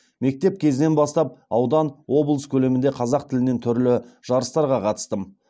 мектеп кезінен бастап аудан облыс көлемінде қазақ тілінен түрлі жарыстарға қатыстым